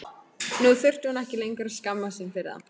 Nú þurfti hún ekki lengur að skammast sín fyrir þá.